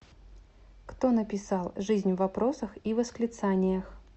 кто написал жизнь в вопросах и восклицаниях